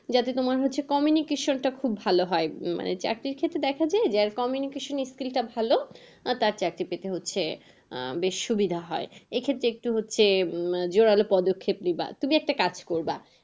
যাতে তোমার হচ্ছে communication টা খুব ভালো হয় মানে। চাকরির ক্ষেত্রে দেখা যায় যার communication এর skill টা ভালো তার চাকরি পেতে হচ্ছে। আহ বেশ সুবিধা হয় এক্ষেত্রে একটু হচ্ছে উম জোড়ালো পদক্ষেপ নিবা, তুমি একটা কাজ করবা।